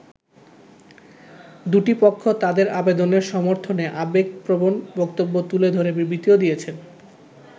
দু’টি পক্ষ তাদের আবেদনের সমর্থনে আবেগপ্রবণ বক্তব্য তুলে ধরে বিবৃতিও দিয়েছে।